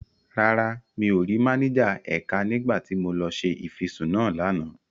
Rárá, mi ò rí máníjà ẹ̀ka nígbà tí mo lọ ṣe ìfisùn náà lánàá.